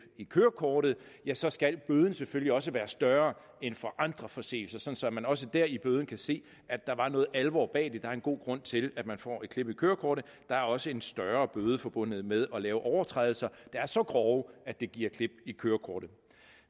i kørekortet ja så skal bøden selvfølgelig også være større end for andre forseelser så man også dér i bøden kan se at der er noget alvor bag det der er en god grund til at man får et klip i kørekortet der er også en større bøde forbundet med at lave overtrædelser der er så grove at det giver klip i kørekortet